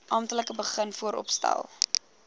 amptelik begin vooropstel